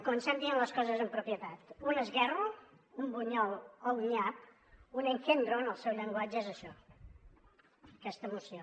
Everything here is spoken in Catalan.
comencem dient les coses amb propietat un esguerro un bunyol o un nyap un engendro en el seu llenguatge és això aquesta moció